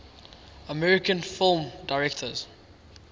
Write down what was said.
american film directors